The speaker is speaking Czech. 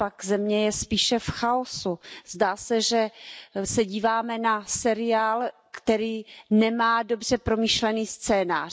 Naopak, země je spíše v chaosu, zdá se, že se díváme na seriál, který nemá dobře promyšlený scénář.